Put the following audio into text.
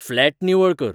flat निवळ कर